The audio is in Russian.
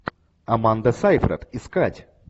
аманда сейфрид искать